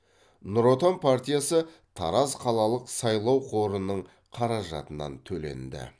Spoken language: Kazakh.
ңұр отан партиясы тараз қалалық сайлау қорының қаражатынан төленді